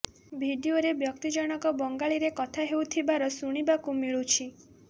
ଭିଡିଓରେ ବ୍ୟକ୍ତି ଜଣକ ବଙ୍ଗାଳୀରେ କଥା ହେଉଥିବାର ଶୁଣିବାକୁ ମିଳୁଛି